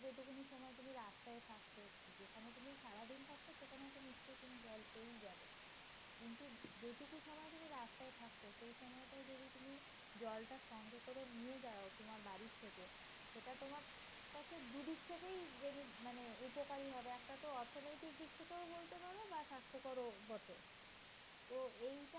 জলটা সঙ্গে করে নিয়ে যাও তোমার বাড়ি থেকে। সেটা তোমার কাছে দুদিক থেকেই মানে উপকারে হবে । একটা তো অর্থনৈতিক দিক থেকে বলতে পারো বা স্বাস্থ্যকরও বটে। তো এইটা